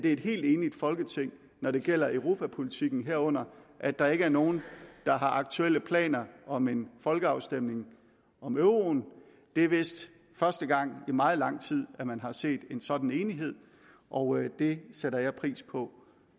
er et helt enigt folketing når det gælder europapolitikken herunder at der ikke er nogen der har aktuelle planer om en folkeafstemning om euroen det er vist første gang i meget lang tid at man har set en sådan enighed og det sætter jeg pris på